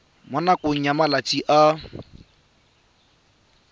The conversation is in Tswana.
mo nakong ya malatsi a